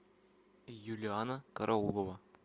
юлианна караулова